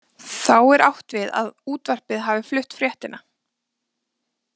Þá er átt við að útvarpið hafi flutt fréttina.